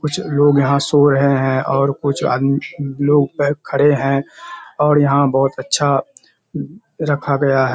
कुछ लोग यहाँ सो रहे हैं और कुछ आद लोग खड़े हैं और यहाँ बहुत अच्‍छा रखा गया है।